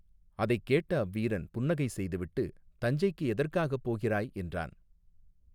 அதைக் கேட்ட அவ்வீரன் புன்னகை செய்துவிட்டு தஞ்சைக்கு எதற்காகப் போகிறாய் என்றான்.